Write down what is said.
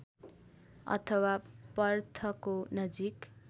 अथवा पर्थको नजिक